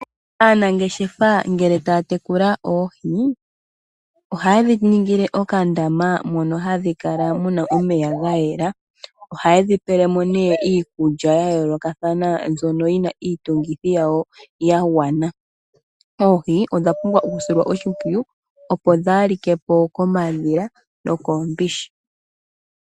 Aanangeshefa ngele taya tekula oohi ohaye dhi ningile okandama mono hamu kala muna omeya ga yela. Ohaye dhi pele mo nee iikulwa ya yoolokathana mbyono yina iitungithi yawo ya gwana. Oohi odha pumbwa oku silwa oshimpwiyu, opo dhaalike po komadhila nokoombishi.